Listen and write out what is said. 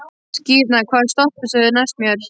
Skírnir, hvaða stoppistöð er næst mér?